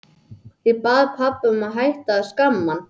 Ég bað pabba að hætta að skamma hann.